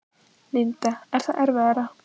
Linda: Er það erfiðara?